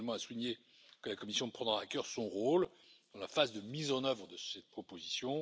Je tiens également à souligner que la Commission prendra à cœur son rôle dans la phase de mise en œuvre de cette proposition.